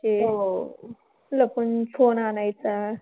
हो. लपून phone आणायचा.